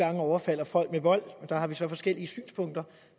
gange overfalder folk med vold der har vi så forskellige synspunkter